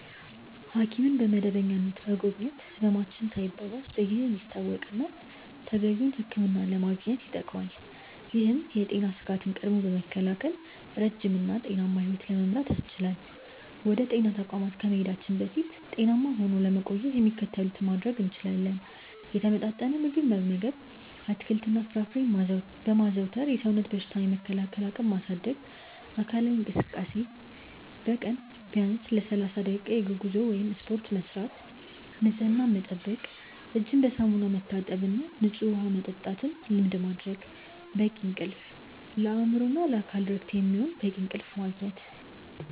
ሐኪምን በመደበኛነት መጎብኘት ህመማችን ሳይባባስ በጊዜ እንዲታወቅና ተገቢውን ሕክምና ለማግኘት ይጠቅማል። ይህም የጤና ስጋትን ቀድሞ በመከላከል ረጅም እና ጤናማ ሕይወት ለመምራት ያስችላል። ወደ ጤና ተቋማት ከመሄዳችን በፊት ጤናማ ሆኖ ለመቆየት የሚከተሉትን ማድረግ እንችላለን፦ የተመጣጠነ ምግብ መመገብ፦ አትክልትና ፍራፍሬን በማዘውተር የሰውነትን በሽታ የመከላከል አቅም ማሳደግ። አካላዊ እንቅስቃሴ፦ በቀን ቢያንስ ለ30 ደቂቃ የእግር ጉዞ ወይም ስፖርት መስራት። ንፅህናን መጠበቅ፦ እጅን በሳሙና መታጠብና ንፁህ ውሃ መጠጣትን ልማድ ማድረግ። በቂ እንቅልፍ፦ ለአእምሮና ለአካል እረፍት የሚሆን በቂ እንቅልፍ ማግኘት።